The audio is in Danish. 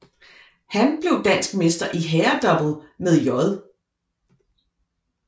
Han blev dansk mester i herredouble med J